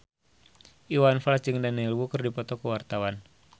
Iwan Fals jeung Daniel Wu keur dipoto ku wartawan